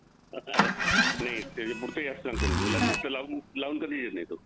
नाही पुढचं याप सांगतो ना गुलाब नुसतं लावून कधीच येत नाही तो